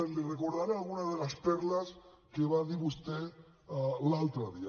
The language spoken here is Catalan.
li recordaré alguna de les perles que va dir vostè l’altre dia